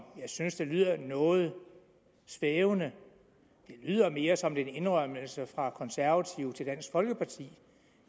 jeg synes det lyder noget svævende det lyder mere som en indrømmelse fra konservative til dansk folkeparti